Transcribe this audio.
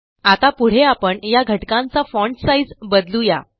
आता पुढे आपण ह्या घटकांचा फॉन्ट साइझ बदलू या